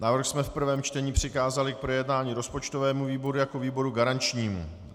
Návrh jsme v prvém čtení přikázali k projednání rozpočtovému výboru jako výboru garančnímu.